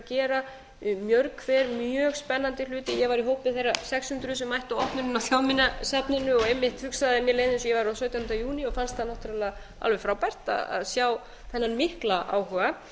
eru að gera mörg hver mjög spennandi hluti ég var í hópi þeirra sex hundruð sem mættu á opnunina á þjóðminjasafninu og einmitt hugsaði á sautjánda júní og fannst það náttúrlega alveg frábært að sjá þennan mikla áhuga